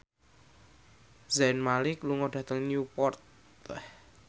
Zayn Malik lunga dhateng Newport